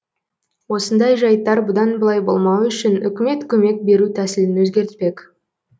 осындай жайттар бұдан былай болмауы үшін үкімет көмек беру тәсілін өзгертпек